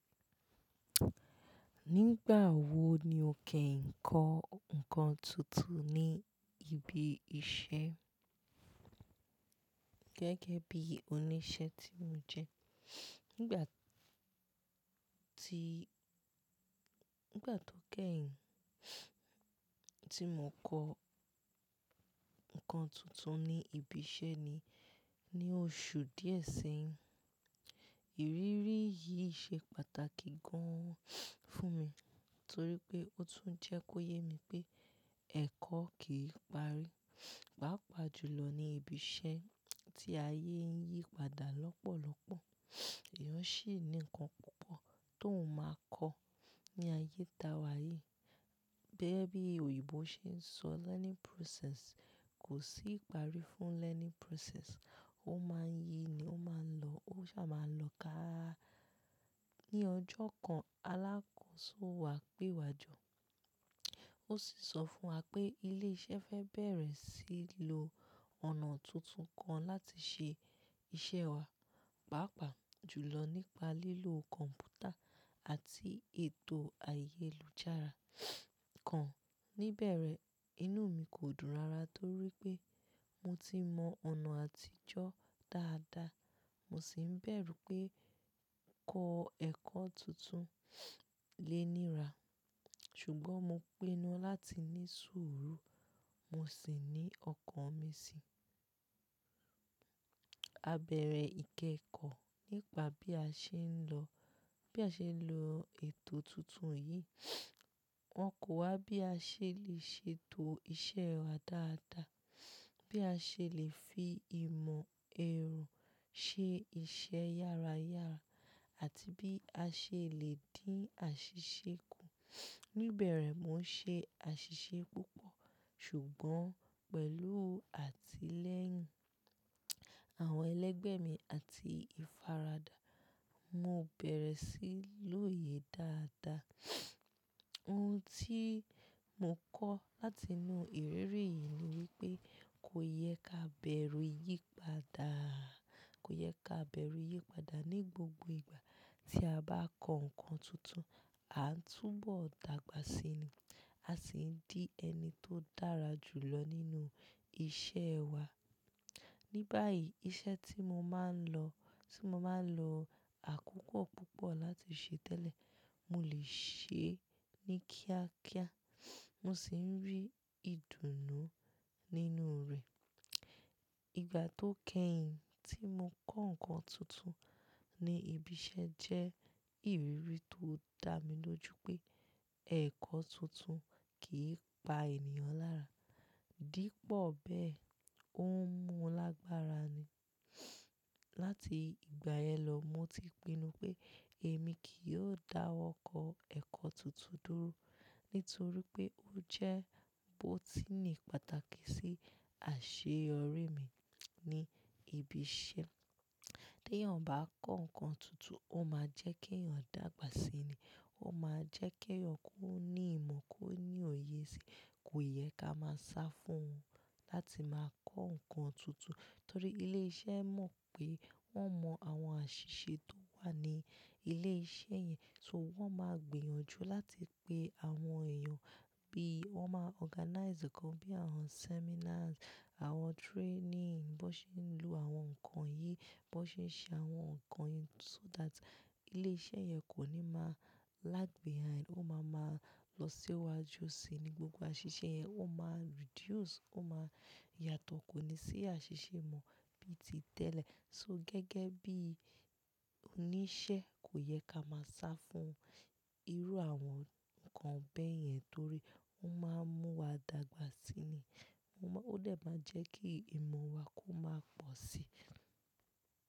Nígbà wo ni o kẹ́yìn ń kọ ǹkan tuntun ní ibi iṣẹ́ gẹ́gẹ́ bí oníṣẹ́ tí mo jẹ́? Nígbà tó kẹ́yìn tí mo kọ ǹkan tuntun ní ibi iṣẹ́ ni ní oṣù díẹ̀ sẹ́yìn. Ìrírí yìí ṣe pàtàkì gan-an fún mi torí pé ó tún jẹ́ kó yé mi pé ẹ̀kọ́ kìí parí. Pàápàá jùlọ ní ibi iṣẹ́ tí ayé yí padà lọ́pọ̀lọpọ̀. Èèyàn sì ní ǹkan púpọ̀ tó wùn máa kọ ní ayé ta wá yìí. Bẹ́ẹ́ bí òyìnbó ṣe ń sọ "learning process". Kò sí ìparí fún learning process. Ó máa ń yi ni, ó máa ń lọ, ó sá máa lọ ká. Ní ọjọ́ kan, alákòóso wa pé wa jọ, ó sì sọ fún wa pé ilé iṣẹ́ fẹ́ bẹ̀rẹ̀ sí í lo ọ̀nà tuntun kan láti ṣe iṣẹ́ wa, pàápàá jùlọ nípa lílo kọ̀m̀pútà àti ètò ayélujára kan. Níbẹ̀rẹ̀, inú mi kò dùn rárá torí pé mo ti mọ ọ̀nà àtijọ́ dáadáa, mo sì ń bẹ̀rù pé ń kọ́ ẹ̀kọ́ tuntun. Léèníra, ṣùgbọ́n mo pinnu láti ní sùúrù, mo sì ní ọkàn mi si. A bẹ̀rẹ̀ ìkẹ́kọ̀ọ́ nípa bí a ṣe ń lọ, bí a ṣe ń lo ètò tuntun yìí. Wọ́n ko wa bí a ṣe lè ṣètò iṣẹ́ wa dáadáa, bí a ṣe lè fi ìmọ̀ ẹ̀rù ṣe iṣẹ́ yára yára àti bí a ṣe lè dín àṣìṣe kù. Nibẹ̀rẹ̀ mo ń ṣe àṣìṣe púpọ̀, ṣùgbọ́n pẹ̀lú àtilẹ́yìn àwọn ẹlẹgbẹ́ mi àti ìfaradà, mo bẹ̀rẹ̀ sí í lòye dáadáa. Ohun tí mo kọ́ láti inú ìrírí yìí ni wípé kó yẹ ká bẹ̀rù yípadà, kó yẹ ká bẹ̀rù yípadà ní gbogbo ìgbà tí a bá kọ ǹkan tuntun, a ń túbọ̀ dàgbà síi ni, a sì ń di ẹni tó dára jùlọ nínú iṣẹ́ wa. Ni báyìí iṣẹ́ tí mo máa ń lọ, tí mo máa ń lo àkókò púpọ̀ láti ṣe tẹ́lẹ̀, mo lè ṣe é ní kíákíá, mo sì ń rí ìdùnnú nínú rẹ̀. Ìgbà tó kẹ́yìn tí mo kọ́ ǹkan tuntun ní ibi iṣẹ́ jẹ́ ìrírí tó dá mi lójú pé ẹ̀kọ́ tuntun kìí pa ènìyàn lára. Dípò bẹ́ẹ̀, ó ń mú un lágbára ni. Lati ìgbà yẹn lọ, mo ti pinnu pé èmi kì yóò dáwọ́ kọ ẹ̀kọ́ tuntun dúró nítorí pé ó jẹ́ bó tí ní pàtàkì sí àṣeyọrí mi ní ibi iṣẹ́. Tí èèyàn bá kọ́ ǹkan tuntun, ó máa jẹ́ kí èèyàn dàgbà síi ni, ó máa jẹ́ kí èèyàn kó ní ìmọ̀, kó ní òye síi. Kò yẹ ká máa sá fún láti máa kọ ǹkan tuntun torí ilé iṣẹ́ mọ̀ pé wọ́n mọ àwọn àṣìṣe tó wà ní ilé iṣẹ́ yẹn so wọ́n máa gbìyànjú láti pe àwọn èèyàn bí wọ́n máa organize nǹkan bí àwọn seminars, àwọn training bó ṣe ń lo àwọn ǹkan yìí, bó ṣe ń ṣe àwọn ǹkan yìí so that ilé iṣẹ́ yẹn kò ní máa lag behind. Ó máa ma lọ síwájú síi ní gbogbo àṣìṣe yẹn. Ó máa reduce, ó máa yàtọ̀, kò ní sí àṣìṣe mọ bí ti tẹ́lẹ̀. So gẹ́gẹ́ bí oníṣẹ́, kò yẹ ká máa sá fún irú àwọn ìkàn bẹ́ẹ̀ yẹn, torí ó máa ń mú wa dàgbà sí i. Ó dé máa jẹ́ kí ìmọ̀ wa kó máa pọ̀ sí i.